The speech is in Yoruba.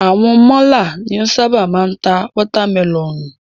Àwọn málà ni o ṣábà máa ń ta watermẹlọ̀nùù.